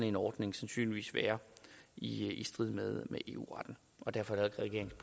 en ordning sandsynligvis være i i strid med eu retten og derfor